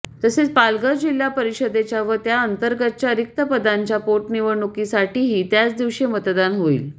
तसेच पालघर जिल्हा परिषदेच्या व त्या अंतर्गतच्या रिक्तपदांच्या पोटनिवडणुकांसाठीही त्याच दिवशी मतदान होईल